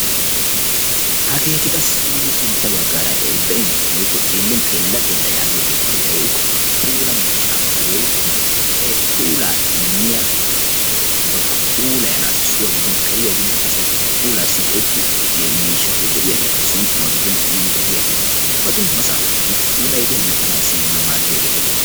hageeti qassi nuuni sinta bagaara be'iyoogeeti xeela xeela giyageeti aybee giikko, puula miishshaa woykko puulaassi goetio miishata woykko puulaasi maadiyaageeta.